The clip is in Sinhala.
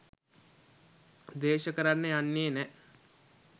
ද්වේශ කරන්න යන්නේ නෑ.